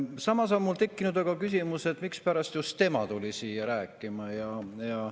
Samas on mul tekkinud küsimus, et mispärast just tema tuli siia rääkima.